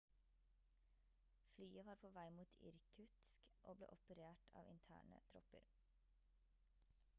flyet var på vei mot irkutsk og ble operert av interne tropper